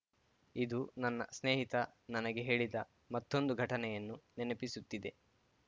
ಇದು ನನ್ನ ಸ್ನೇಹಿತ ನನಗೆ ಹೇಳಿದ ಮತ್ತೊಂದು ಘಟನೆಯನ್ನು ನೆನಪಿಸುತ್ತಿದೆ